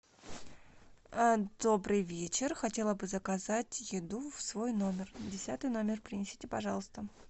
добрый вечер хотела бы заказать еду в свой номер десятый номер принесите пожалуйста